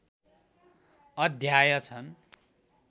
अध्याय छन्।